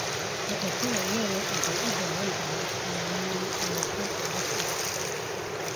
Dhaqashada lo'du waxay u baahan tahay maamul wanaagsan oo daaq ah.